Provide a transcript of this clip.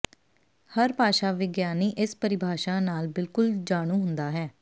ਹਰ ਭਾਸ਼ਾ ਵਿਗਿਆਨੀ ਇਸ ਪਰਿਭਾਸ਼ਾ ਨਾਲ ਬਿਲਕੁਲ ਜਾਣੂ ਹੁੰਦਾ ਹੈ